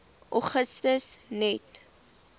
augustus net